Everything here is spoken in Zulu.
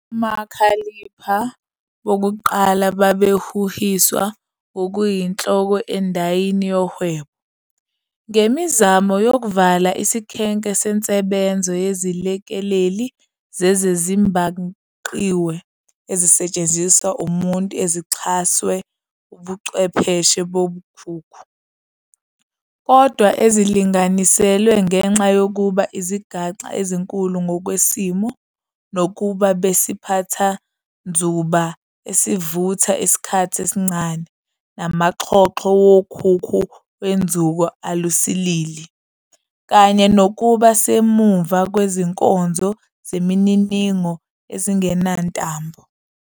Omakhalipha bokuqala babehuhiswa ngokuyinhloko endayini yohwebo, ngemizamo yokuvala isikhenke sensebenzo yezilekeleli zezezibhangqiwe ezisetshenziswa umuntu ezixhaswe Ubuchwepheshe bokhukhu, kodwa ezilinganiselwe ngenxa yokuba izigaxa ezinkulu ngokwesimo, nokuba besiphathanzuba esivutha isikhathi esincane, namaxhoxho wokhukhu wenzuko alusilili, kanye nokuba semuva kwezinkonzo zemininingo ezingenantambo.